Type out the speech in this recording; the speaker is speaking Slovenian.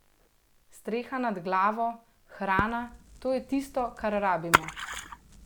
Streha nad glavo, hrana, to je tisto, kar rabimo ...